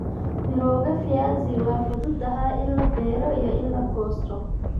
Mirooga viazi waa fududahay in la beero iyo in la goosto.